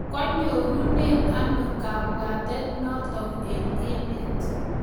kwenyorune anokabwatet notok eng emet